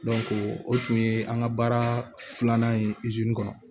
o tun ye an ka baara filanan ye kɔnɔ